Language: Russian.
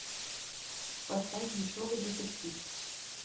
поставь дешевый детектив